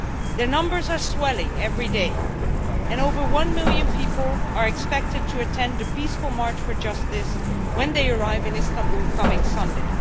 The numbers are swelling every day, and more than one million people are expected to attend a peaceful march for justice when they arrive in Istanbul this coming Sunday.